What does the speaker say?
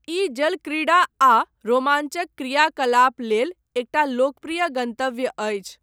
ई जलक्रीड़ा आ रोमांचक क्रियाकलाप लेल एकटा लोकप्रिय गन्तव्य अछि।